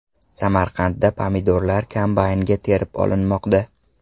Samarqandda pomidorlar kombaynda terib olinmoqda .